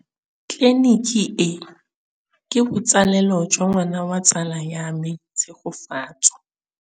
Tleliniki e, ke botsalêlô jwa ngwana wa tsala ya me Tshegofatso.